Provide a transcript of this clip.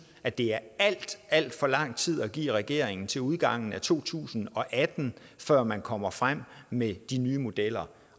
at det er alt alt for lang tid at give regeringen til udgangen af to tusind og atten før man kommer frem med de nye modeller